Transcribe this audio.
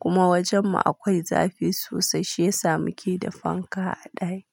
kuma wajen mu akwai zafi sosai shi ya samu keda fanka a ɗaki.